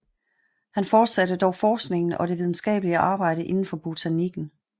Han fortsatte dog forskningen og det videnskabelige arbejde indenfor botanikken